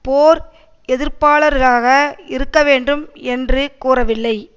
போர் எதிர்ப்பாளராக இருக்க வேண்டும் என்று கூறவில்லை